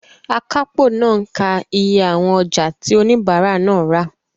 Akápò náà ń ka iye àwọn ọjà tí oníbàárà náà rà.